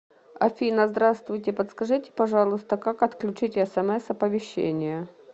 афина здравствуйте подскажите пожалуйста как отключить смс оповещения